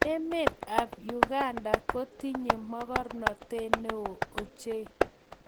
Emet ab Uganda kotinye mokornote ne oo ochei.